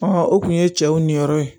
o kun ye cɛw ni yɔrɔ ye